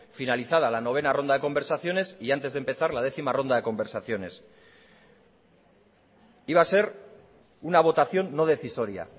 finalizada la novena ronda de conversaciones y antes de empezar la décima ronda de conversaciones iba a ser una votación no decisoria